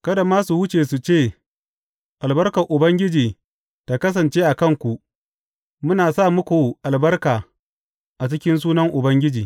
Kada masu wuce su ce, Albarkar Ubangiji ta kasance a kanku; muna sa muku albarka a cikin sunan Ubangiji.